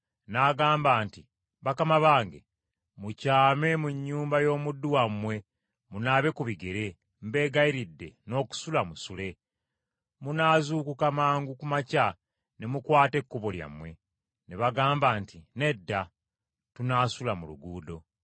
n’agamba nti, “Bakama bange mukyame mu nnyumba y’omuddu wammwe munaabe ku bigere, mbegayiridde n’okusula musule. Munaazuukuka mangu ku makya ne mukwata ekkubo lyammwe.” Ne bagamba nti, “Nedda tunaasula mu luguudo.”